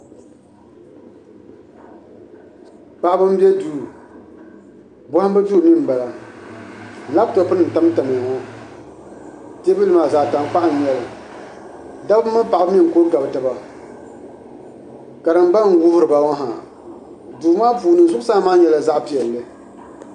Paɣaba n bɛ duu bohambu duu mii n bala labtop nim n tam tam ya ŋo teebuli maa zaɣ tankpaɣu n nyɛli dabba mini paɣaba mii n kuli gabi taba karimba n wuhuriba ŋo ha duu maa puuni zuɣusaa maa nyɛla zaɣ piɛlli